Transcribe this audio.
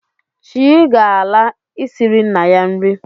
Chii ga-ala, isiri nna ya nri